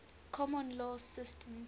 common law systems